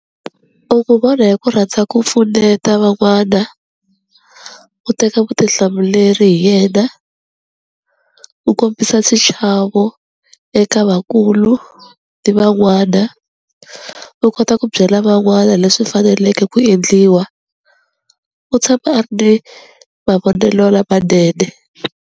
vona hi ku rhandza ku pfuneta van'wana, u teka vutihlamuleri hi yena, u kombisa xichavo eka vakulu ni van'wana, u kota ku byela van'wana leswi faneleke ku endliwa, u tshama a ri ni mavonelo lamanene.